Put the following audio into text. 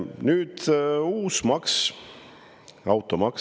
Nüüd uus maks, automaks.